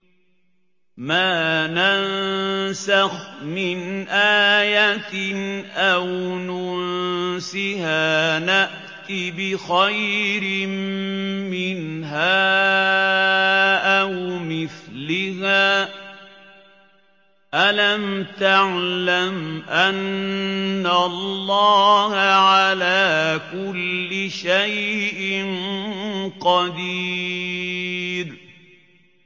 ۞ مَا نَنسَخْ مِنْ آيَةٍ أَوْ نُنسِهَا نَأْتِ بِخَيْرٍ مِّنْهَا أَوْ مِثْلِهَا ۗ أَلَمْ تَعْلَمْ أَنَّ اللَّهَ عَلَىٰ كُلِّ شَيْءٍ قَدِيرٌ